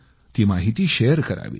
ती माहिती शेअर करावी